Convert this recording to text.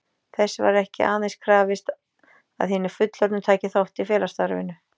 Þess var ekki aðeins krafist, að hinir fullorðnu tækju þátt í félagsstarfinu.